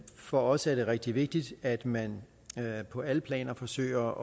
for os er det rigtig vigtigt at man på alle planer forsøger